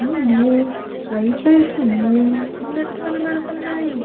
అన్ని లైట్స్ వేసుకొని ఉన్నట్లు కనపడుతున్నాయి.